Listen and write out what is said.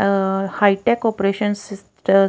ਆ high tech operation